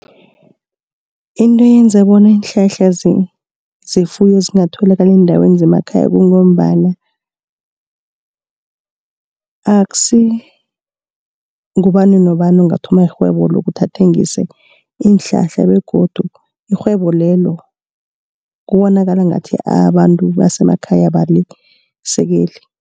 Into eyenza bona iinhlahla zefuyo zingatholakali eendaweni zemakhaya, kungombana akusi ngubani nobani ongathoma irhwebo lokuthi athengise iinhlahla begodu irhwebo lelo kubonakala ngathi abantu basemakhaya abalisekeli.